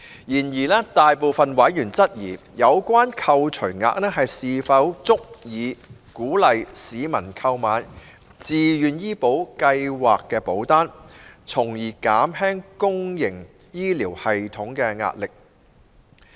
然而，大部分委員質疑，有關扣除額是否足以鼓勵市民購買自願醫保計劃保單，從而減輕公營醫療體系的壓力。